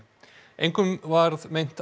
engum var meint